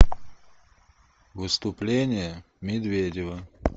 выступление медведева